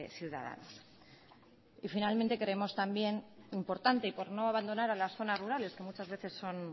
ciudadanos y finalmente queremos también importante y por no abandonar a las zonas rurales que muchas veces son